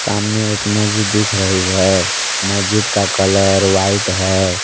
सामने एक मस्जिद दिख रही है। मस्जिद का कलर व्हाइट है।